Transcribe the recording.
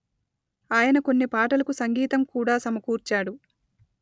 ఆయన కొన్ని పాటలకు సంగీతం కూడా సమకూర్చాడు